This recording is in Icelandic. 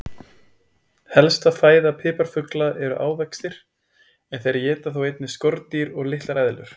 Helsta fæða piparfugla eru ávextir en þeir éta þó einnig skordýr og litlar eðlur.